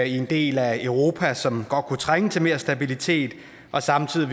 i en del af europa som godt kunne trænge til mere stabilitet og samtidig